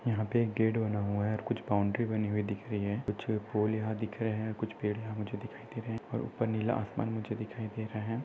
यहाँ पे एक गेट बना हुआ है और कुछ बाउंड्री बनी हुई दिख रही है कुछ पोल यहाँ दिख रहे हैं कुछ पेड़ मुझे दिखाई दे रहे हैं और ऊपर नीला आसमान मुझे दिखाई दे रहा है।